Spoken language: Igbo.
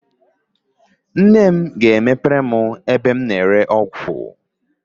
Nne ga-emepere m chemist